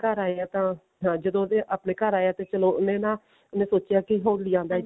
ਘਰ ਆਇਆ ਤਾਂ ਹਾਂ ਜਦੋ ਉਹਦੇ ਆਪਣੇ ਘਰ ਆਇਆ ਤੇ ਚਲੋ ਉਹਨੇ ਨਾ ਉਹਨੇ ਸੋਚਿਆ ਕਿ ਹੋਲੀ ਦਾ